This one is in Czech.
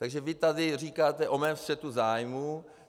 Takže vy tady říkáte o mém střetu zájmů.